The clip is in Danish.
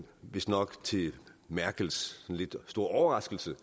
vistnok til merkels store overraskelse